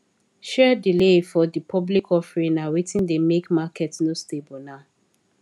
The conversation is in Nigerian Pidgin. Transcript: share delay for the public offering na wetin dey make market no stable now